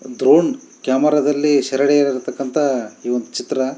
drone camera ದಲ್ಲಿ ಸೆರೆ ಹಿಡಿಯಾತಕ್ಕ್ನಥ ಒಂದು ಚಿತ್ರ--